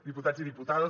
diputats i diputades